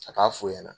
A k'a f'u ɲɛna